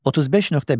35.1.